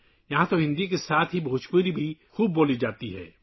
یہاں ہندی کے ساتھ ساتھ بھوجپوری بھی بولی جاتی ہے